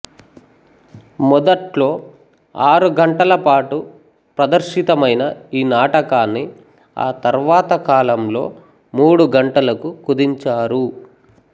మొదట్లో ఆరుగంటల పాటు ప్రదర్శితమైన ఈ నాటకాన్ని ఆ తర్వాత కాలంలో మూడు గంటలకు కుదించారు